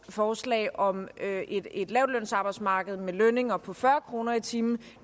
forslag om et lavtlønsarbejdsmarked med lønninger på fyrre kroner i timen